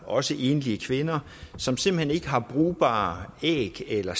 også enlige kvinder som simpelt hen ikke har brugbare æg eller